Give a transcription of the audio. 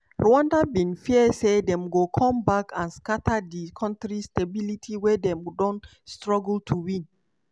rwanda bin fear say dem go come back and scata di kontri stability wey dem don struggle to win.